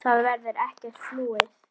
Það verður ekkert flúið.